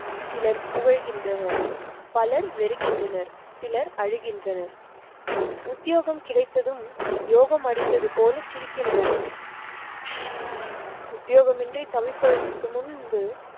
சிலர் புகழ்கின்றனர். பலர் வெறுக்கின்றனர், சிலர் அழுகின்றனர், உத்யோகம் கிடைத்ததும் யோகம் அடித்தது போல சிரிக்கின்றோம் உத்தியோக மின்றி தவிப்பதற்க்கு முன்பு